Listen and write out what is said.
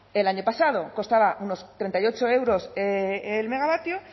el año pasado costaba unos treinta y ocho euros el megavatio